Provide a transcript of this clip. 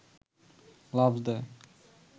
লাফ দেয়